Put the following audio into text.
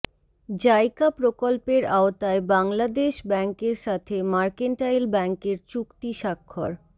JICA প্রকল্পের আওতায় বাংলাদেশ ব্যাংকের সাথে মার্কেন্টাইল ব্যাংকের চুক্তি স্বাক্ষর